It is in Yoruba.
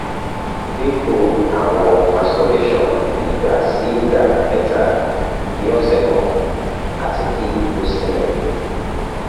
dinku awọn masturbation igba si igba mẹta ni ọsẹ kan ati ki o sinmi